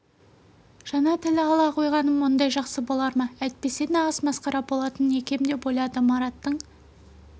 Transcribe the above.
жаңа тіл ала қойғаным мұндай жақсы болар ма әйтпесе нағыз масқара болатын екем деп ойлады мараттың